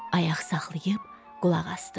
Ayaq saxlayıb qulaq asdı.